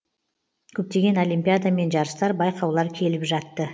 көптеген олимпиада мен жарыстар байқаулар келіп жатты